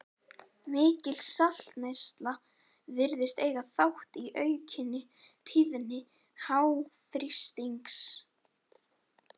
Mikil saltneysla virðist eiga þátt í aukinni tíðni háþrýstings.